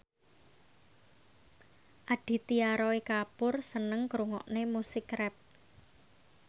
Aditya Roy Kapoor seneng ngrungokne musik rap